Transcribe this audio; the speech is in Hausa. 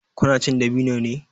Ku na cin dabino ne?